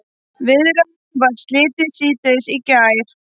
Viðræðunum var slitið síðdegis í gær